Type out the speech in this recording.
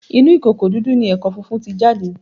Inú ìkòkò dúdú ni ẹ̀kọ funfun ti jáde